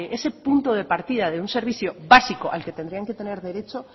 ese punto de partida de un servicio básico al que tendrían que tener derecho